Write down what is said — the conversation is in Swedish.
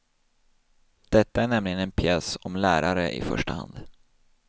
Detta är nämligen en pjäs om lärare i första hand.